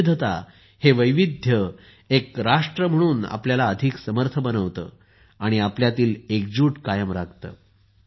ही विविधता हे वैविध्य एक राष्ट्र म्हणून आपल्याला अधिक समर्थ करते आणि आपल्यातील एकजूट कायम राखते